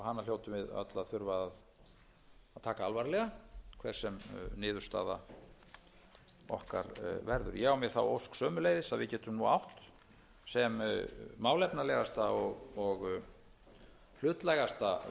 og hana hljótum við öll að þurfa að taka alvarlega hver sem niðurstaða okkar verður ég á mér þá ósk sömuleiðis að við getum nú átt sem málefnalegasta og hlutlægasta umræðu um þetta það hafa fallið ýmis